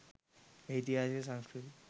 ඉතිහාසය සංස්කෘතිය